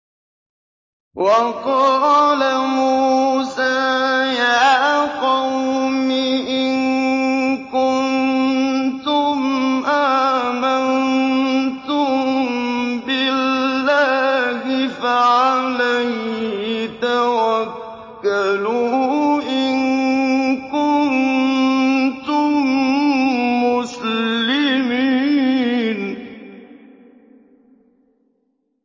وَقَالَ مُوسَىٰ يَا قَوْمِ إِن كُنتُمْ آمَنتُم بِاللَّهِ فَعَلَيْهِ تَوَكَّلُوا إِن كُنتُم مُّسْلِمِينَ